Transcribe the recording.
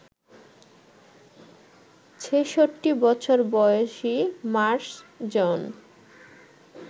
ছেষট্টি বছর বয়সী মার্শ জন